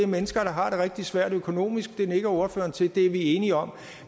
mennesker der har det rigtig svært økonomisk det nikker ordføreren til det er vi enige om